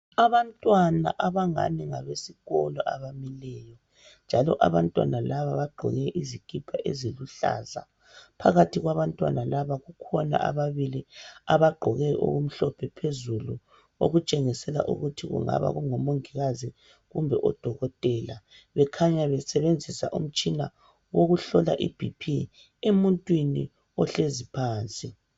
Abantwana abangani ngabesikolo abamileyo njalo abantwana laba bagqoke izikipa eziluhlaza, phakathi kwabantwana laba kukhona ababili abagqoke okumhlophe phezulu okutshengisela ukuthi kungaba kungomongikazi kumbe odokotela bekhanya besebenziza umtshina wokuhlola iBp emuntwini ohlezi phansi.